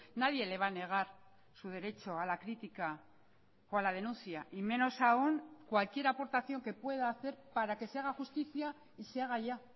nadie le va a negar su derecho a la crítica o a la denuncia y menos aún cualquier aportación que pueda hacer para que se haga justicia y se haga ya